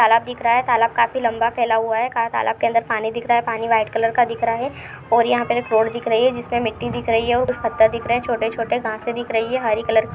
तालाब दिख रहा है तालाब काफी लंबा फैला हुआ है क तलाब के अंदर पानी दिख रहा है पानी व्हाइट कलर का दिख रहा है और यहाँ पर एक रोड दिख रही है जिसपे मिट्टी दिख रही है सत्ता दिख रहा है छोटे -छोटे घासे दिख रही है हरे कलर की--